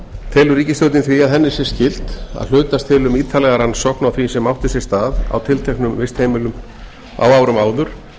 telur ríkisstjórnin því að henni sé skylt að hlutast til um ítarlega rannsókn á því sem átti sér stað á tilteknum vistheimilum á árum áður